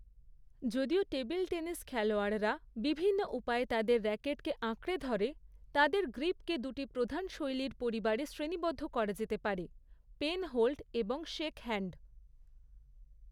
যদিও table tennis খেলোয়াড়রা বিভিন্ন উপায়ে তাদের র‍্যাকেটকে আঁকড়ে ধরে, তাদের গ্রিপকে দুটি প্রধান শৈলীর পরিবারে শ্রেণীবদ্ধ করা যেতে পারে, পেনহোল্ড এবং শেকহ্যান্ড।